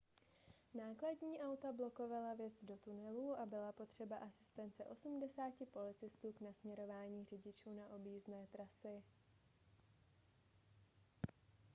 nákladní auta blokovala vjezd do tunelů a byla potřeba asistence 80 policistů k nasměrování řidičů na objízdné trasy